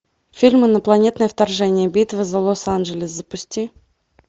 фильм инопланетное вторжение битва за лос анджелес запусти